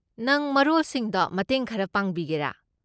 ꯅꯪ ꯃꯔꯣꯜꯁꯤꯡꯗꯣ ꯃꯇꯦꯡ ꯈꯔ ꯄꯥꯡꯕꯤꯒꯦꯔꯥ?